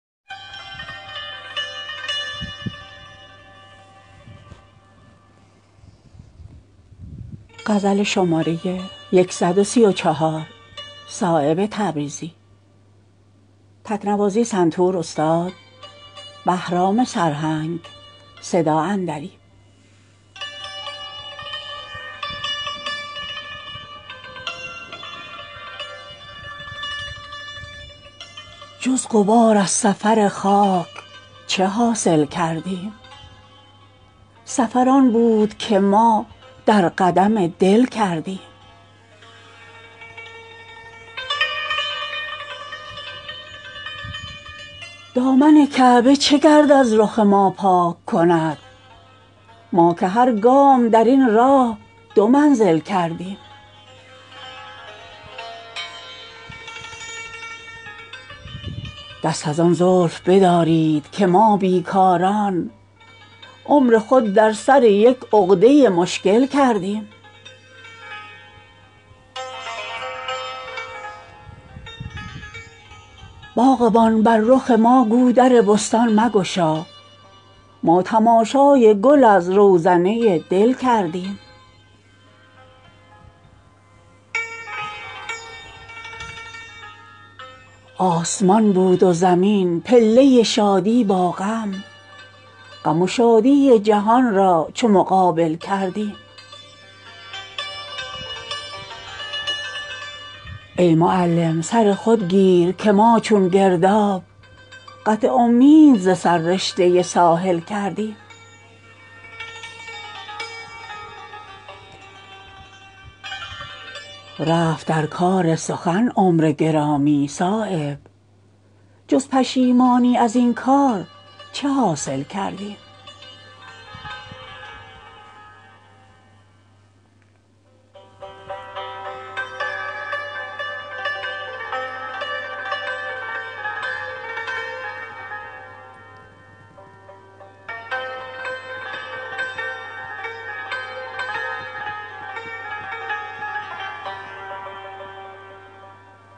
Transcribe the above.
جز غبار از سفر خاک چه حاصل کردیم سفر آن بود که ما در قدم دل کردیم دامن کعبه چه گرد از رخ ما پاک کند ما که هر گام درین راه دو منزل کردیم دست از آن زلف بدارید که ما بیکاران عمر خود در سر یک عقده مشکل کردیم باغبان بر رخ ما گو در بستان مگشا ما تماشای گل از روزنه دل کردیم هر چه جز یاد حق از دامن دل افشاندیم خاک در دیده اندیشه باطل کردیم آسمان بود و زمین پله شادی با غم غم و شادی جهان را چو مقابل کردیم دل ما مفت نشد مشرق انوار یقین چشم را در سر روشنگری دل کردیم ای معلم سر خود گیر که ما چون گرداب قطع امید ز سر رشته ساحل کردیم آه اگر در جگر تیغ گوارا نشود مشت خونی که نثار ره قاتل کردیم رفت در کار سخن عمر گرامی صایب جز پشیمانی ازین کار چه حاصل کردیم